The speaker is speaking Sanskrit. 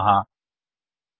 इति दॊषं प्राप्नुमः